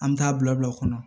An bɛ taa bila o kɔnɔ